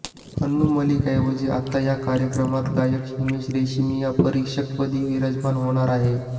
अनु मलिकऐवजी आता या कार्यक्रमात गायक हिमेश रेशमिया परीक्षकपदी विराजमान होणार आहे